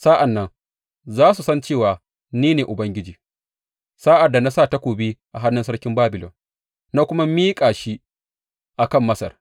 Sa’an nan za su san cewa ni ne Ubangiji, sa’ad da na sa takobi a hannun sarkin Babilon na kuma miƙa shi a kan Masar.